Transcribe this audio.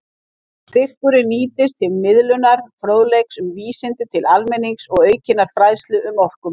Styrkurinn nýtist til miðlunar fróðleiks um vísindi til almennings og aukinnar fræðslu um orkumál.